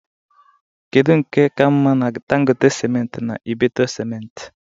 kedu nke ka mma na Dangote simenti na Ibeto Simenti?